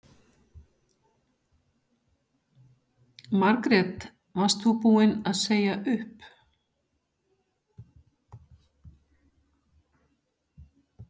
Jóhanna Margrét: Varst þú búin að segja upp?